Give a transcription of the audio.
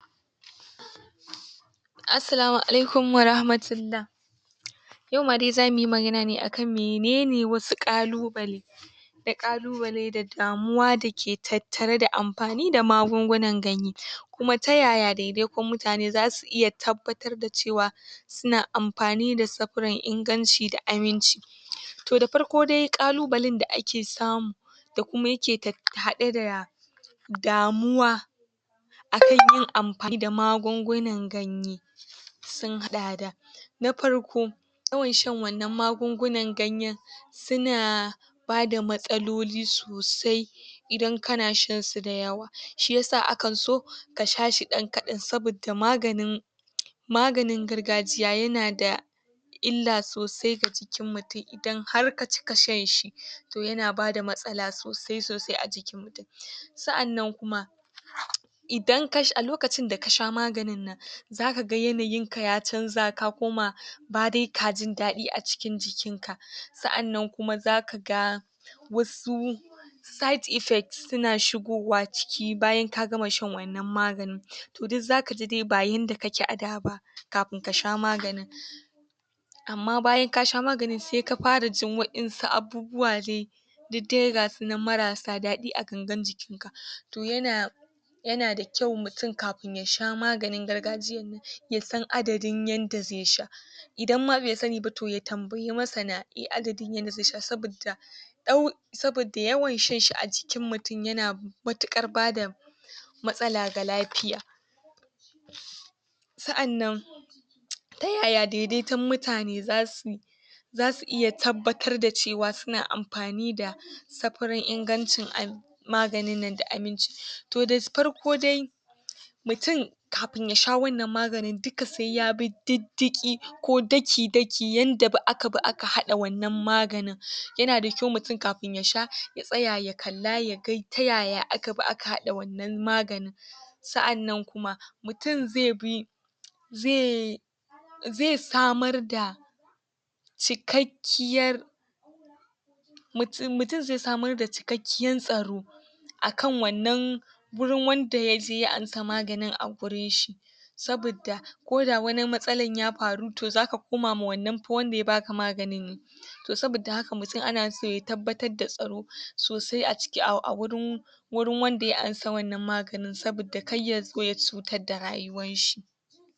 Assalamu Alaikum wa rahmatullAH. Yau ma dai zamu yi magana ne akan menene wasu ƙalubale ƙalubale da damuwa dake tattare da amfani da magungunan ganye. Kuma ta ya ya daidaikun mutane zasu iya tabbatar da cewa suna amfani da safran inganci da aminci. To da farko dai, ƙalubalen da ake samu da kuma yake tat haɗe da damuwa akan yi amfani da magungunan ganye, sun haɗa da: na farko: yawan sha wannan magungunan ganyen su na bada matsaloli sosai idan kana shan su da yawa. Shi yasa akan so ka sha shi ɗan kaɗan saboda maganin maganin gargajiya yana da illa sosai ga jikin mutum idan har ka cika shanshi, to yana bada matsala sosai-sosai a jikin. Sannan kuma, idan ka a lokacin da kasha maganin nan, zaka ga yanayin ka ya canza ka koma ba dai ka jin daɗi a cikin jikin ka ,sannan kuma zaka ga wasu side effects suna shigowa cikin bayan ka gama shan waɗannan maganin. to duk zaka ji dai ba yanda ka ke a da ba kafin ka sha maganin. Amma bayan ka sha maganin sai ka fara jin wa'yansu abubuwa dai duk dai ga su nan marasa daɗi a ganagan jikin. To yana yana da kyua mutum ykafin yasha maganin gargajiya ya san adadin yanda zai sha. Idan ma bai sani ba to ya tambaya masana, iya adadin yadda zai sha sabidda, sabidda yawan shan shi a jikin mutum yana matuƙar bada matsala ga lafiya. Sa'annan, ta ya ya daidaitun mutane za [suy su iya tabbatar da cewa suna amfani da safarin ingancin maganin nan da aminci. To da farko dai, mutum kafin yasha wannan maganin duka sai ya bi diddiƙi ko daki-daki yadda aka bi aka haɗa wannan maganin. yana da kyau mutum kafin yasha ya tsata ta kalla ta ya ya aka bi aka haɗa wannan maganin. Sa'annan kuma, mutum zai bi zai zai samar da cikiakkiyar mutum zai samar da cikakkiyar] tsaro akan wannan wurin wanda yaje ya amsa maganin a wurin shi. sabidda ko da wani matsalan ya faru, to zaka koma ma wannan fa wanda ya baka maganin ne. To sabidda haka mutum ana so ya tabbatar da tsaro, sosai aciki a wurin wurin]wanda ya amsa wannan maganin sabidda kar ya zo ya cutar da rayuwanshi.